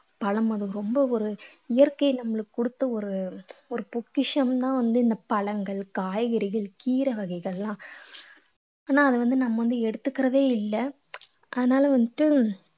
பழம் அது ரொம்ப ஒரு இயற்கையை நம்மளுக்கு கொடுத்த ஒரு ஒரு பொக்கிஷம்தான் வந்து இந்த பழங்கள் காய்கறிகள் கீரை வகைகள்லாம் ஆனா அதை வந்து நம்ம வந்து எடுத்துக்கிறதே இல்லை அதனால வந்துட்டு